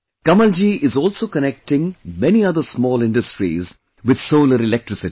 Kamalji is also connecting many other small industries with solar electricity